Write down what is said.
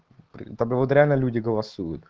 там вот реально люди голосуют